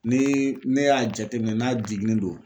Ni ne y'a jate minɛ n'a jiginni do.